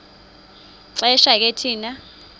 xesha ke thina